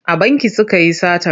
A banki suka yi satar.